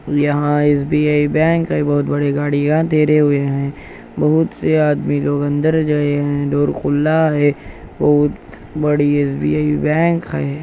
यहाँ S B I bank हैं बहुत बड़ी गाड़िया धीरे हुए हैं बहुत से आदमी लोग अंदर गए हैं और खुला हैं बहुत बड़ी एस_बी_आई बैंक हैं।